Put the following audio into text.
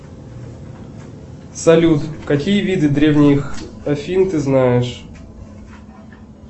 салют какие виды древних афин ты знаешь